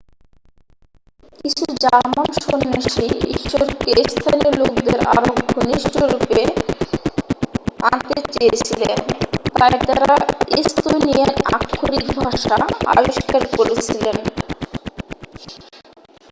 কিছু জার্মান সন্ন্যাসী ঈশ্বরকে স্থানীয় লোকদের আরও ঘনিষ্ঠরূপে আনতে চেয়েছিলেন তাই তারা এস্তোনিয়ান আক্ষরিক ভাষা আবিষ্কার করেছিলেন